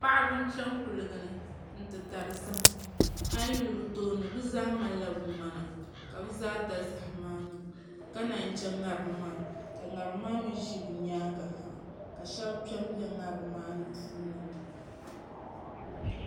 Paɣaba n chɛŋ kuligi ni n ti dari zaham a yi yuli bi tooni bi zaa malila bi ŋmana ka bi zaa da zaham maa niŋ ka naan chɛ ŋarim maa ka ŋarim maa mii ʒi bi nyaangi ha ka shab kpɛ n bɛ ŋarim maa puuni